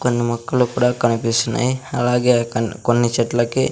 కొన్ని మొక్కలు కూడా కనిపిస్తున్నాయి అలాగే కన్ కొన్ని చెట్ల కి--